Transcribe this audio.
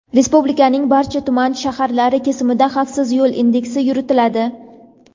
Respublikaning barcha tuman (shahar)lari kesimida "Xavfsiz yo‘l" indeksi yuritiladi.